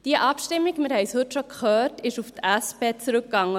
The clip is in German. Diese Abstimmung – wir haben es heute schon gehört – ging auf die SP zurück.